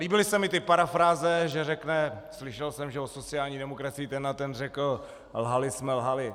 Líbily se mně ty parafráze, že řekne - slyšel jsem, že o sociální demokracii ten a ten řekl - lhali jsme, lhali.